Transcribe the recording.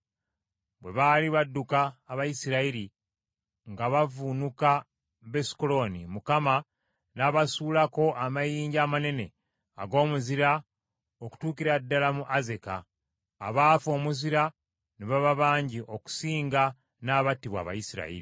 Bwe baali badduka Abayisirayiri nga bavuunuka Besukolooni, Mukama n’abasuulako amayinja amanene ag’omuzira okutuukira ddala mu Azeka; abaafa omuzira ne baba bangi okusinga n’abattibwa Abayisirayiri.